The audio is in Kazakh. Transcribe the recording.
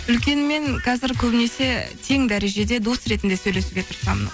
үлкенмен қазір көбінесе тең дәрежеде дос ретінде сөйлесуге тырысамын